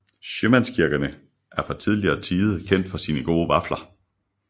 Sjømandskirkerne er fra tidligere tide kendt for sine gode vafler